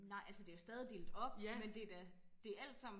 nej altså det er jo stadig delt op men det er da det alt sammen